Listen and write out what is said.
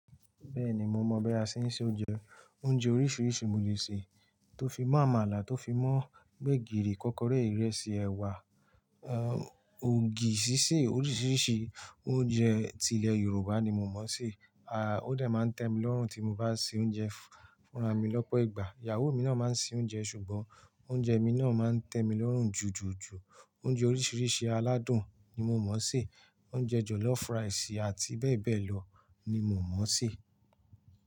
Bẹ́ẹ̀ni mo mọ̀ bí a ṣe ń se oúnjẹ. Oúnjẹ oríṣiríṣi mo lè sè, tó fi mó àmàlà, tó fi mó gbẹ̀gìrì, kókóré, ìrẹsì, ẹ̀wà, er, ògì ṣíṣe oríṣiríṣi oúnjẹ ti ilẹ̀ Yorùbá ni mo mọ̀ sé. A, ó dà máa ń tẹ́ mi lọ́rùn tí mo bá sè oúnjẹ fúnra mi lọ́pọ̀ ìgbà. Ìyàwó mi náà máa ń sè oúnjẹ ṣùgbọ́n oúnjẹ mi náà máa ń tẹ́ mi lọ́rùn jùjùjù. Oúnjẹ oríṣiríṣi aládùn ni mo mọ̀ sé, oúnjẹ jọ̀lọ́fù ráìsì àti bẹ́ẹ̀ bẹ́ẹ̀ lọ ni mo mọ̀ sé.